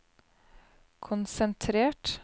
konsentrert